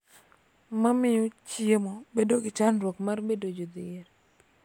Ma miyo chiemo bedo gi chandruok mar bedo jodhier.